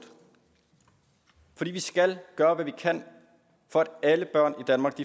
fordi vi skal gøre hvad vi kan for at alle børn i danmark